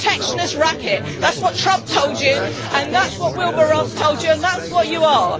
You're a protectionist racket. That's what Trump told you and that's what Wilbur Ross told you, and that's what you are.